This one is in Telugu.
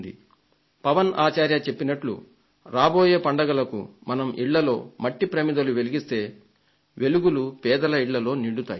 శ్రీ పవన్ ఆచార్య చెప్పినట్లు రాబోయే పండుగలకు మనం ఇళ్లలో మట్టి ప్రమిదలు వెలిగిస్తే పేదల ఇళ్లలో వెలుగులు నిండుతాయి